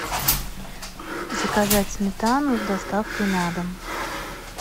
заказать сметану с доставкой на дом